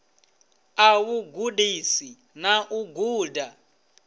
ḽa vhugudisi na u guda